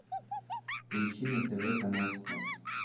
поищи на тв канал спас